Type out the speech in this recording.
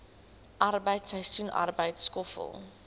arbeid seisoensarbeid skoffel